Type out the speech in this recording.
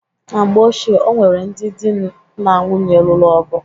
Na mgbe ochie, o nwere ndị dị na nwunye lụrụ ọgụ.